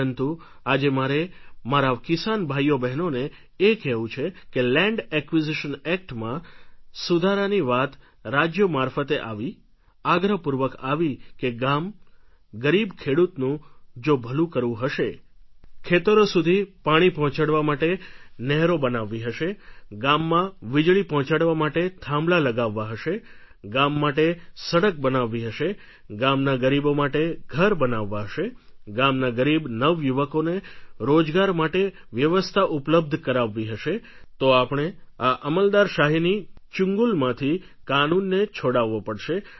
પરંતુ આજે મારે મારા કિસાન ભાઈઓબહેનોને એ કહેવું છે કે લેન્ડ એક્વિઝિશન એક્ટમાં સુધારાની વાત રાજ્યો મારફતે આવી આગ્રહપૂર્વક આવી કે ગામ ગરીબ ખેડૂતનું જો ભલુ કરવું હશે ખેતરો સુધી પાણી પહોંચાડવા માટે નહેરો બનાવવી હશે ગામમાં વીજળી પહોંચાડવા માટે થાંભલા લગાવવા હશે ગામ માટે સડક બનાવવી હશે ગામના ગરીબો માટે ઘર બનાવવા હશે ગામના ગરીબ નવયુવકોના રોજગાર માટે વ્યવસ્થા ઉપલબ્ધ કરાવવી હશે તો આપણે આ અમલદારશાહીની ચૂંગલમાંથી કાનૂનને છોડાવવો પડશે